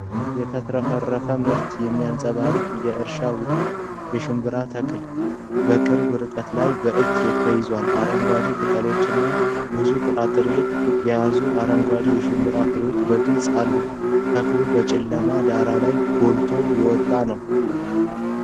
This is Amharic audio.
የተትረፈረፈ ምርት የሚንጸባረቅበት የእርሻ ውጤት። የሽምብራ ተክል በቅርብ ርቀት ላይ በእጅ ተይዟል። አረንጓዴ ቅጠሎችና ብዙ ጥራጥሬ የያዙ አረንጓዴ የሽምብራ ፍሬዎች በግልጽ አሉት። ተክሉ በጨለማ ዳራ ላይ ጎልቶ የወጣ ነው።